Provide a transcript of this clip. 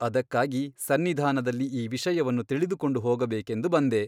ಅದಕ್ಕಾಗಿ ಸನ್ನಿಧಾನದಲ್ಲಿ ಈ ವಿಷಯವನ್ನು ತಿಳಿದುಕೊಂಡು ಹೋಗಬೇಕೆಂದು ಬಂದೆ ?